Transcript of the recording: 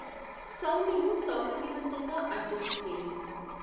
సౌండును సౌకర్యవంతంగా అడ్జస్ట్ చేయి